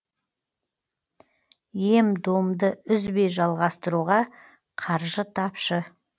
ем домды үзбей жалғастыруға қаржы тапшы